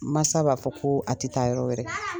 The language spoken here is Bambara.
Masa b'a fɔ ko, a tɛ taa yɔrɔ wɛrɛ